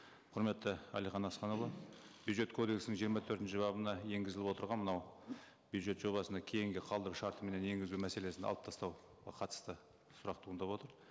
құрметті әлихан асханұлы бюджет кодексінің жиырма төртінші бабына енгізіліп отырған мынау бюджет жобасына кейінгі қалдыру шартыменен енгізу мәселесін алып тастауға қатысты сұрақ туындап отыр